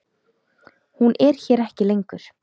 Hún er hér ekki lengur.